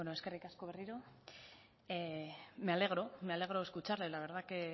eskerrik asko berriro me alegro me alegro escucharle la verdad que